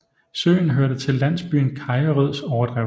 Søen hørte til landsbyen Kajerøds overdrev